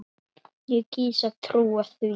Ég kýs að trúa því.